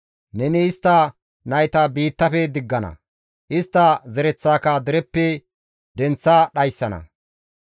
Neni istta nayta biittafe diggana; istta zereththaaka dereppe denththa dhayssana.